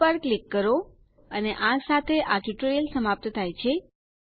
save પર click કરો અને આ સાથે આ ટ્યુટોરીયલ સમાપ્ત થાય છે